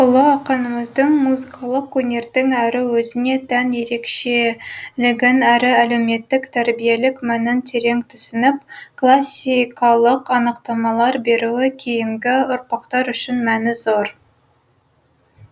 сөйтіп ұлы ақынымыздың музыкалық өнердің әрі өзіне тән ерекшелігін әрі әлеуметтік тәрбиелік мәнін терең түсініп классикалық анықтамалар беруі кейінгі ұрпақтар үшін мәні зор